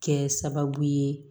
Kɛ sababu ye